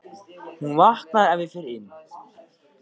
Hún vaknar ef ég fer inn.